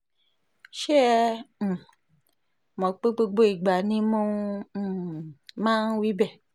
ṣé ẹ um mọ̀ pé gbogbo ìgbà ni mo um máa ń wí bẹ́ẹ̀